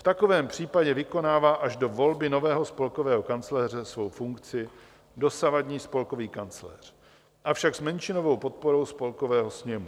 V takovém případě vykonává až do volby nového spolkového kancléře svou funkci dosavadní spolkový kancléř, avšak s menšinovou podporou Spolkového sněmu.